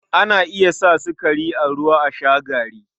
Ana iya sa sukari da ruwa a sha gari.